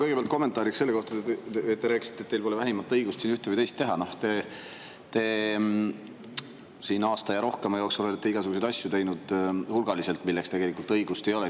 Kõigepealt kommentaariks selle kohta, et te ütlesite, et teil pole vähimatki õigust siin ühte või teist teha: te siin aasta ja rohkema jooksul olete hulgaliselt teinud igasuguseid asju, milleks teil tegelikult õigust ei ole.